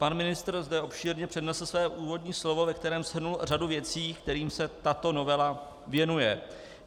Pan ministr zde obšírně přednesl své úvodní slovo, ve kterém shrnul řadu věcí, kterým se tato novela věnuje.